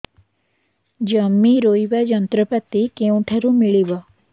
ଜମି ରୋଇବା ଯନ୍ତ୍ରପାତି କେଉଁଠାରୁ ମିଳିବ